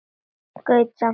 Gaut samt augum á sófann.